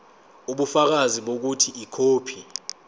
ubufakazi bokuthi ikhophi